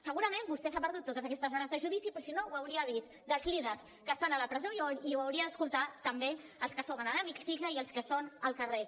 segurament vostè s’ha perdut totes aquestes hores de judici però si no ho hauria vist dels líders que estan a la presó i ho hauria d’escoltar també dels que som a l’hemicicle i dels que són al carrer